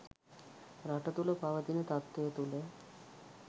රට තුළ පවතින තත්ත්වය තුළ